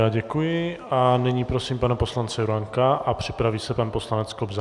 Já děkuji a nyní prosím pana poslance Juránka a připraví se pan poslanec Kobza.